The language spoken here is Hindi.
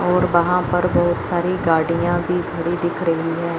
और वहां पर बहुत सारी गाड़ियां भी खड़ी दिख रही हैं।